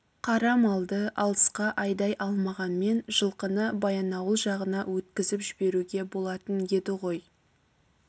қара малды алысқа айдай алмағанмен жылқыны баянауыл жағына өткізіп жіберуге болатын еді ғой